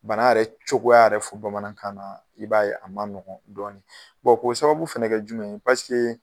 Bana yɛrɛ cogoya yɛrɛ fɔ bamanankan na , i b'a ye a man nɔgɔ dɔɔni. k'o sababu fɛnɛ kɛ jumɛn ye, paseke